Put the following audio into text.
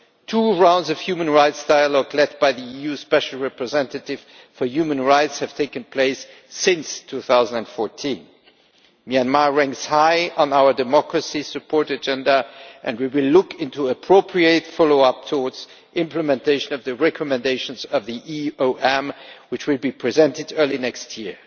Two rounds of human rights dialogue, led by the EU Special Representative for Human Rights, have taken place since 2014. Myanmar ranks high on our democracy support agenda, and we will look into appropriate follow up with a view to implementation of the recommendations of the EOM, which will be presented early next year.